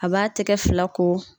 A b'a tɛgɛ fila ko.